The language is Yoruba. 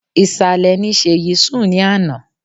Ìsàlẹ̀ ni Sèyí sùn ní àná.